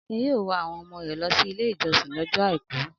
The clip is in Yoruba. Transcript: Akin yóò wa àwọn ọmọ rẹ̀ lọ Ilé-ìjọsìn lọ́jọ́ àìkú.